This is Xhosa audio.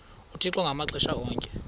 uthixo ngamaxesha onke